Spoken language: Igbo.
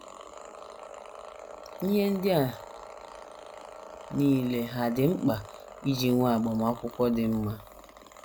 Ihe ndị a nile hà dị mkpa iji nwee agbamakwụkwọ “ dị mma ”?